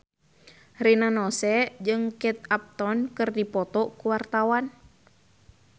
Rina Nose jeung Kate Upton keur dipoto ku wartawan